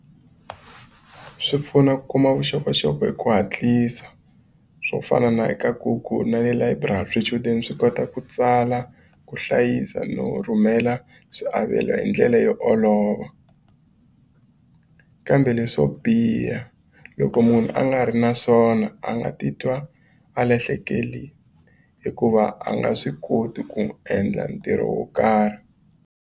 Swi pfuna ku kuma vuxokoxoko hi ku hatlisa swo fana na eka Google na le layiburari swichudeni swi kota ku tsala ku hlayisa no rhumela swiavelo hi ndlela yo olova kambe leswo biha loko munhu a nga ri na swona a nga titwa a lahlekeli hikuva a nga swi koti ku n'wi endla ntirho wo karhi.